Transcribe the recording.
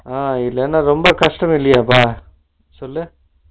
ஆஹா இல்லனா ரொம்ப கஷ்டம் இல்லையாப்பா சொல்லு